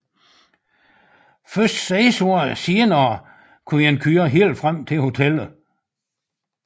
Først seks år senere kunne man køre helt frem til hotellet